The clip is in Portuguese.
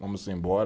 Vamos embora.